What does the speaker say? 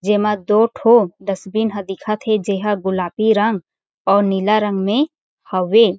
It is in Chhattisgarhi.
जे मा दो ठो डस्टबिन हा दिखत हे जेहा गुलापी रंग अउ नीला रंग मे हवे।